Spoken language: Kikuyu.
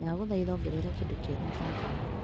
Ndagũthaitha ongerera kĩndũ kĩerũ mũbango-inĩ .